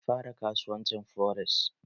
Ya fara kasuwancin fores